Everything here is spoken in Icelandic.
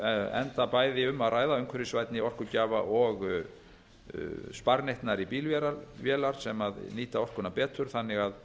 enda bæði um að ræða umhverfisvænni orkugjafa og sparneytnari bílvélar sem nýta orkuna betur þannig að